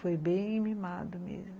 Foi bem mimado mesmo.